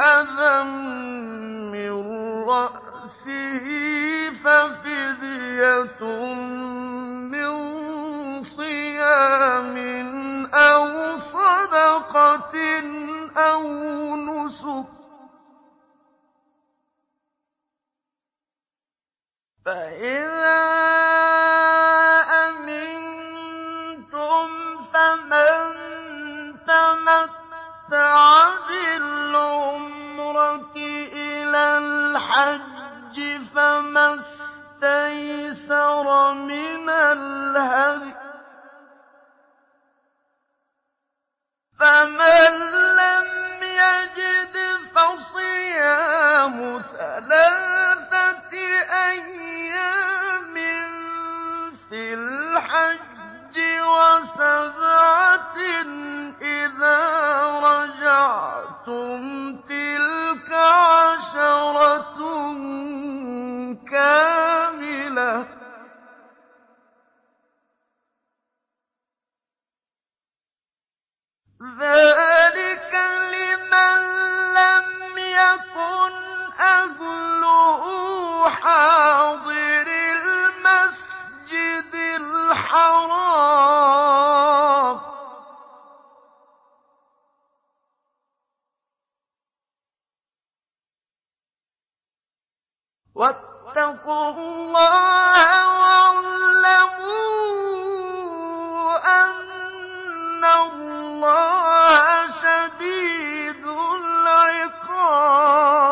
أَذًى مِّن رَّأْسِهِ فَفِدْيَةٌ مِّن صِيَامٍ أَوْ صَدَقَةٍ أَوْ نُسُكٍ ۚ فَإِذَا أَمِنتُمْ فَمَن تَمَتَّعَ بِالْعُمْرَةِ إِلَى الْحَجِّ فَمَا اسْتَيْسَرَ مِنَ الْهَدْيِ ۚ فَمَن لَّمْ يَجِدْ فَصِيَامُ ثَلَاثَةِ أَيَّامٍ فِي الْحَجِّ وَسَبْعَةٍ إِذَا رَجَعْتُمْ ۗ تِلْكَ عَشَرَةٌ كَامِلَةٌ ۗ ذَٰلِكَ لِمَن لَّمْ يَكُنْ أَهْلُهُ حَاضِرِي الْمَسْجِدِ الْحَرَامِ ۚ وَاتَّقُوا اللَّهَ وَاعْلَمُوا أَنَّ اللَّهَ شَدِيدُ الْعِقَابِ